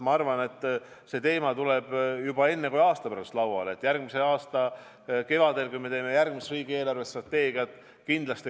Ma arvan, et see teema tuleb juba varem kui aasta pärast lauale: järgmise aasta kevadel, kui me teeme järgmist riigi eelarvestrateegiat.